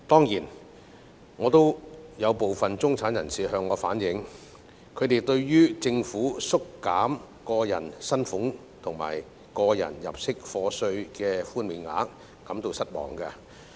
有部分中產人士向我反映，他們對於政府縮減個人薪俸稅及個人入息課稅的寬免額感到失望。